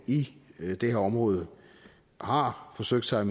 i det her område har forsøgt sig